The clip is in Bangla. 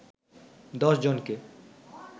১০ জনকে